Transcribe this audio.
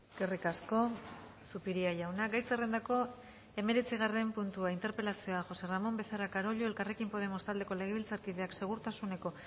eskerrik asko zupiria jauna gai zerrendako hemeretzigarren puntua interpelazioa josé ramón becerra carollo elkarrekin podemos taldeko legebiltzarkideak segurtasuneko